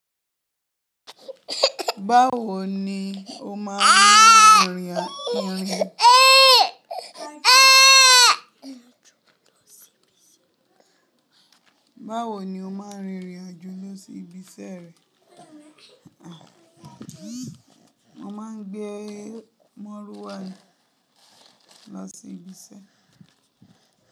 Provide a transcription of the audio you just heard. Báwo ni ó máa ń rìn ìrìnàjò lọ sí ibi iṣẹ́ rẹ? Mo máa ń gbé Mọ́rúwà ni lọ sí ibi iṣẹ́.